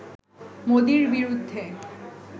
মোদির বিরুদ্ধে